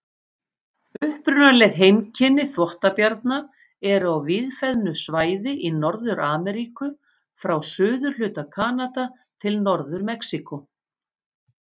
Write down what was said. Upprunaleg heimkynni þvottabjarna eru á víðfeðmu svæði í Norður-Ameríku, frá suðurhluta Kanada til Norður-Mexíkó.